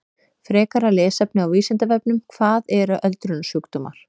Frekara lesefni á Vísindavefnum: Hvað eru öldrunarsjúkdómar?